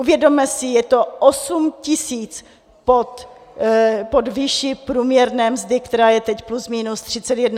Uvědomme si, je to 8 tisíc pod výší průměrné mzdy, která je teď plus minus 31 tisíc korun.